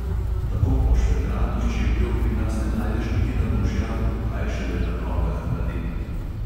Tako pošvedranih čevljev pri nas ne najdeš niti na bolšjaku, kaj šele na nogah mladenk.